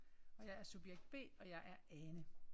Og jeg er subjekt B og jeg er Ane